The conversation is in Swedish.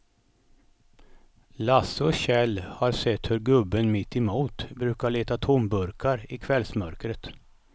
Lasse och Kjell har sett hur gubben mittemot brukar leta tomburkar i kvällsmörkret.